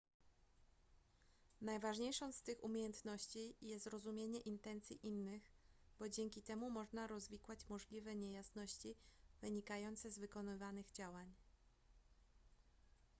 najważniejszą z tych umiejętności jest rozumienie intencji innych bo dzięki temu można rozwikłać możliwe niejasności wynikające z wykonywanych działań